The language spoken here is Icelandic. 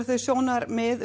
þau sjónarmið